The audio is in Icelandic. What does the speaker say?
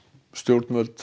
stjórnvöld